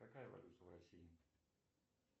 какая валюта в россии